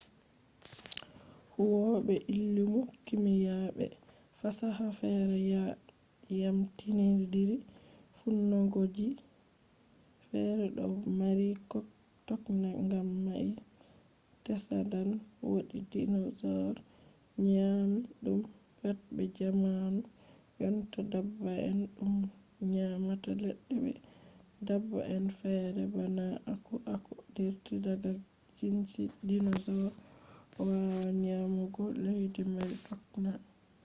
huwobe illimu kimiya be fasaha fere yamyamtindiri fuunngoji fere do mari tokna gam mai tsadan wodi dinosaur nyami dum pat be jamanu jonta dabba'en dum nyamata ledde be dabba'en ferefere bana aku aku dirti daga jinsi dinosaur wawan nyamugo ledde mari tokna